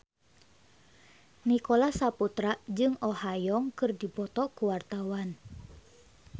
Nicholas Saputra jeung Oh Ha Young keur dipoto ku wartawan